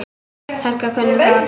Helga kunni þá alla.